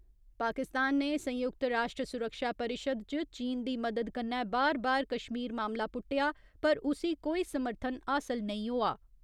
पाकिस्तान ने संयुक्त राश्ट्र सुरक्षा परिशद च चीन दी मदद कन्नै बार बार कश्मीर मामला पुट्टेआ, पर उसी कोई समर्थन हासल नेईं होआ।